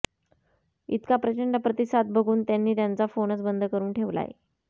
इतका प्रचंड प्रतिसाद बघून त्यांनी त्यांचा फोनच बंद करून ठेवलाय